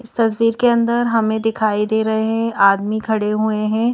तस्वीर के अंदर हमें दिखाई दे रहे हैं आदमी खड़े हुए हैं।